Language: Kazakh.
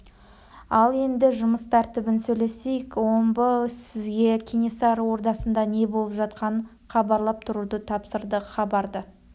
ал енді жұмыс тәртібін сөйлесейік омбы сізге кенесары ордасында не болып жатқанын хабарлап тұруды тапсырды хабарды